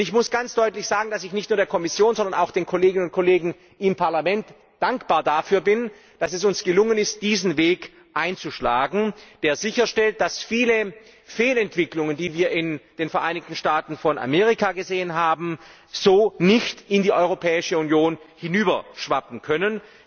Ich muss ganz deutlich sagen, dass ich nicht nur der Kommission, sondern auch den Kolleginnen und Kollegen im Parlament dankbar dafür bin, dass es uns gelungen ist, diesen Weg einzuschlagen, der sicherstellt, dass viele Fehlentwicklungen, die wir in den Vereinigten Staaten von Amerika gesehen haben, so nicht in die Europäische Union hinüberschwappen können.